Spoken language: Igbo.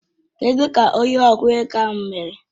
Kedụ ka onye okwụ ego ahụ mere?